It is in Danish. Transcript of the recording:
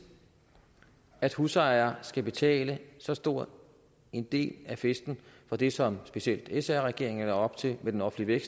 at husejere skal betale så stor en del af festen for det som specielt sr regeringen lagde op til med den offentlige